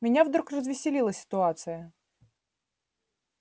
меня вдруг развеселила ситуация